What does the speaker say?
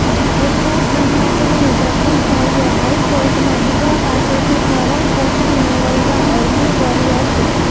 વૃદ્ધાશ્રમમાં જઇને જગદીશભાઇએ હાઇકોર્ટમાં દીકરા પાસેથી ભરણપોષણ મેળવવા અરજી કરી હતી